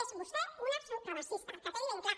és vostè una supremacista que quedi ben clar